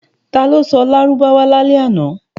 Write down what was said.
Ta ló sọ Lárúbáwá lálẹ́ àná?